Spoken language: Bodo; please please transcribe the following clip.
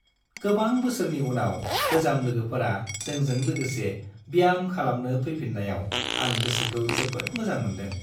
गोबां बोसोरनि उनाव गोजाम लोगोफोरा जोंजों लोगोसे ब्याम खालामनो फैफिन्नायाव आं गोसोखौ जोबोद मोजां मोनदों।